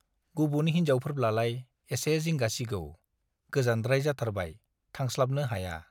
गुबुन हिन्जावफोरब्लालाय एसे जिंगा सिगौ - गोजानद्राय जाथारबाय, थांस्लाबनो हाया